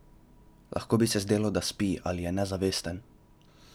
Lahko bi se zdelo, da spi ali je nezavesten.